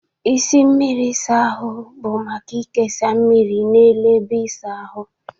Isi mmiri ịsa ahụ bụ maka ikesa mmiri n'elu ebe ịsa ahụ.